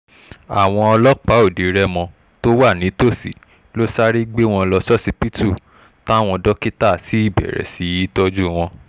àwọn ọlọ́pàá ọdẹ-rémó tó wà nítòsí ló sáré gbé wọn lọ ṣọsibítù táwọn dókítà sì bẹ̀rẹ̀ sí í tọ́jú wọn